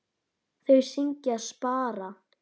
Þau syngja: SPARA!